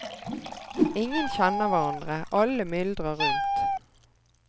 Ingen kjenner hverandre, alle myldrer rundt.